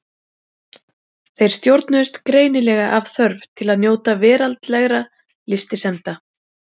Þeir stjórnuðust greinilega af þörf til að njóta veraldlegra lystisemda.